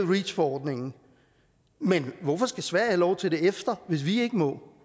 reach forordningen men hvorfor skal sverige have lov til det efter hvis vi ikke må